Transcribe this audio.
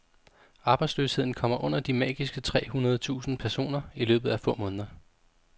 Arbejdsløsheden kommer under de magiske tre hundrede tusind personer i løbet af få måneder.